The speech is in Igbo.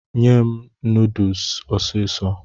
Nye m nodusi ọsịsọ